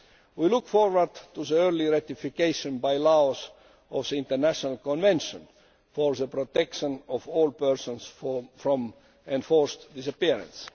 We look forward to the early ratification by Laos of the International Convention for the Protection of All Persons from Enforced Disappearance.